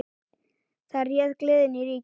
Þar réð gleðin ríkjum.